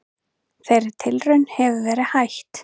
Þeirri tilraun hefur verið hætt.